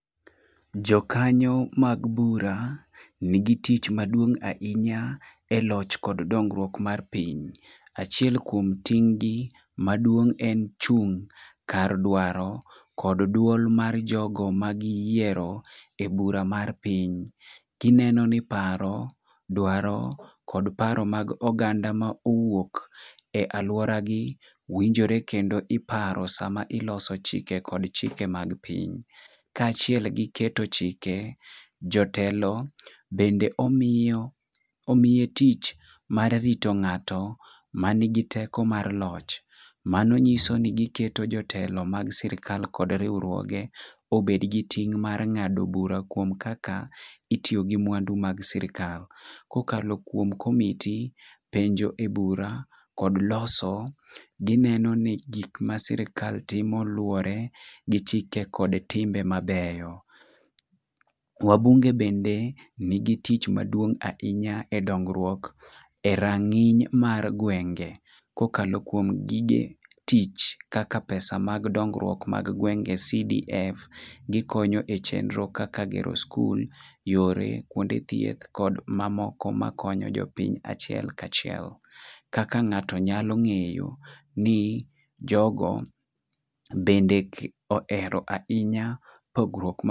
Jokanyo mag bura nigi tich maduong' ahinya e loch kod dongruok mar piny. Achiel kuom ting' gi maduong en chung' kar dwaro kod duol mar jogo ma giyiero e bura mar piny. Gineno ni paro, dwaro kod paro mag oganda ma owuok e aluora gi winjore kendo iparo sama iloso chike kod chike mag piny. Kaachiel gi keto chike jotelo bende omiyo omiye tich mar rito ng'ato manigi teko mar loch mano nyiso ni giketo jotelo mag sirikal kod riwuokge obed gi ting mar ng'ado bura kuom kaka itiyo gi mwandu mag sirikal . Kokalo kuom komiti penjo e bura kod loso dhi neno ni sirikal timo luwore gi chike kod timbe mabeyo wabunge bende nigi tich maduong ' ahinya e dongruok e rang'iny mar gwenge kokalo kuom gige tich kaka pesa mag dongruok mag gwenge CDF, gikonyo e chenro kaka gero skul yore kuonde thieth kod mamoko makonyo jopiny achiel kachiel. Kaka ng'ato nyalo ng'eyo ni jogo bende ohero ahinya puogruok ma